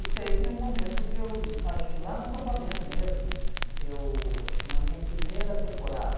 E teve um momento que eu, acho que lá no acampamento mesmo eu, acho que na minha primeira temporada,